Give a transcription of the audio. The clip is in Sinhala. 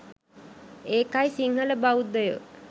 ඒකයි සිංහල බෞද්ධයෝ